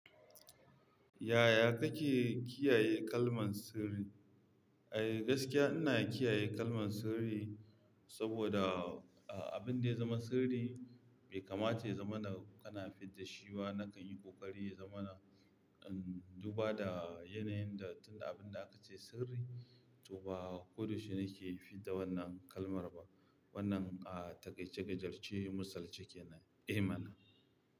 Yaya kake kiyaye kalman sirri? Eh, gaskiya ina kiyaye kalman sirri saboda, a, abin da ya zama sirri bai kamata ya zama na kana fidda shi ba nakan yi ƙoƙari ya zama na, um, duba da yanayin da tun abin da aka ce sirri, to ba ko da yaushe nake fidda wannan kalmar ba. Wannan, a, taƙaice gajer ce misali ce ke nan. Eh mana.